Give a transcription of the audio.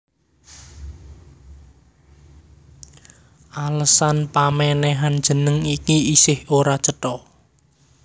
Alesan pamènèhan jeneng iki isih ora cetha